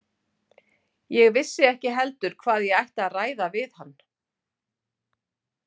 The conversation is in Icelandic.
Ég vissi ekki heldur hvað ég ætti að ræða við hann.